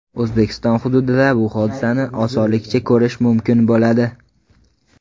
O‘zbekiston hududida bu hodisani osonlikcha ko‘rish mumkin bo‘ladi.